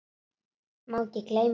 Má ekki gleyma því.